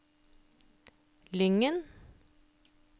Lyngen